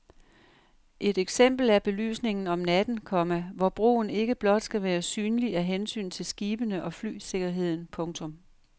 Et eksempel er belysningen om natten, komma hvor broen ikke blot skal være synlig af hensyn til skibene og flysikkerheden. punktum